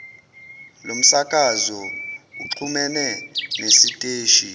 lomsakazo uxhumene nesiteshi